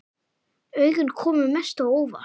Augun komu mest á óvart.